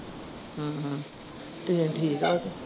Train ਠੀਕ ਆ ਉਹ ਤੇ।